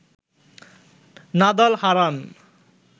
Nadal Haran